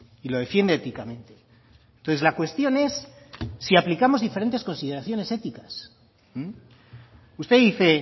y lo defiende éticamente entonces la cuestión es si aplicamos diferentes consideraciones éticas usted dice